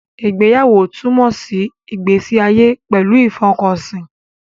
Ìgbéyàwó túmọ̀ sí ìgbésí ayé pẹ̀lú ìfọkànsí